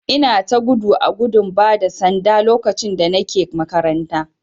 Ina ta gudu a gudun bada sanda lokacin da Nike makaranta.